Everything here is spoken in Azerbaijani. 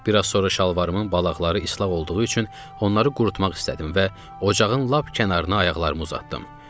Bir az sonra şalvarımın balaqları islah olduğu üçün onları qurutmaq istədim və ocağın lap kənarına ayaqlarımı uzatdım.